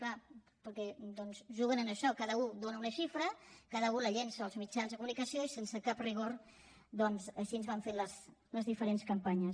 clar perquè doncs juguen amb això cada un dóna una xifra cada u la llença als mitjans de comunicació i sense cap rigor doncs així van fent les diferents campanyes